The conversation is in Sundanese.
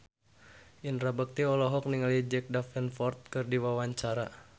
Indra Bekti olohok ningali Jack Davenport keur diwawancara